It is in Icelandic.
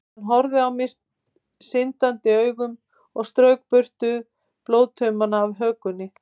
Hann horfði á mig syndandi augum og strauk burtu blóðtauma af hökunni.